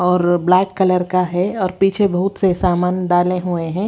और black colour का है और पीछे बहुत से सामान डाले हुए हैं।